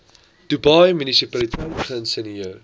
dubai munisipaliteit geïnisieer